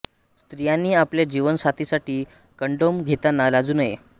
स्त्रियांनी आपल्या जीवन साथीसाठी कंडोम घेताना लाजू नये